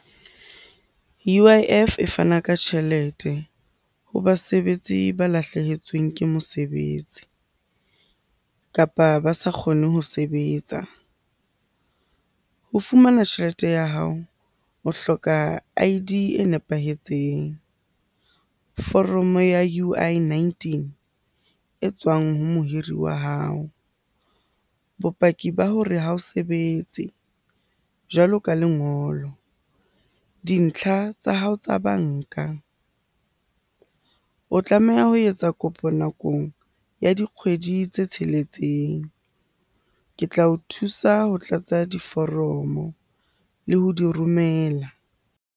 U_I_F e fana ka tjhelete ho basebetsi ba lahlehetsweng ke mosebetsi, kapa ba sa kgone ho sebetsa. Ho fumana tjhelete ya hao, o hloka I_D e nepahetseng, foromo ya U_I nineteen e tswang ho mohiri wa hao, bopaki ba hore ha o sebetse jwalo ka lengolo, dintlha tsa hao tsa banka. O tlameha ha ho etsa kopo nakong ya ho dikgwedi tse tsheletseng. Ke tla o thusa ho tlatsa diforomo le ho di romela.